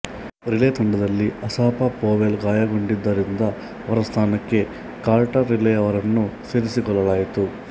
relay ತಂಡದಲ್ಲಿ Asafa Powell ಗಾಯಗೊಂಡಿದ್ದರಿಂದ ಅವರ ಸ್ಥಾನಕ್ಕೆ ಕಾರ್ಟರ್ ರಿಲೆಯವರನ್ನು ಸೇರಿಸಿಕೊಳ್ಳಲಾಯಿತು